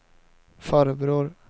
farbror